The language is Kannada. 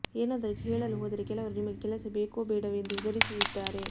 ಏನಾದರೂ ಹೇಳಲು ಹೋದರೆ ಕೆಲವರು ನಿಮಗೆ ಕೆಲಸ ಬೇಕೋ ಬೇಡವೋ ಎಂದು ಹೆದರಿಸುತ್ತಿದ್ದಾರೆ